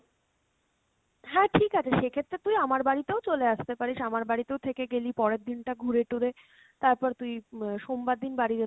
হ্যাঁ ঠিক আছে সেক্ষেত্রে তুই আমার বাড়িতেও চলে আসতে পারিস, আমার বাড়িতেও থেকে গেলি পরের দিন টা ঘুরে টুরে তারপর তুই আহ সোমবার দিন বাড়ি